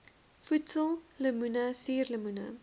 voedsel lemoene suurlemoene